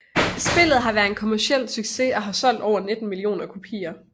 Spillet har været en kommerciel succes og har solgt over 19 millioner kopier